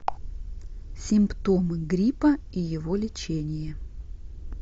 симптомы гриппа и его лечение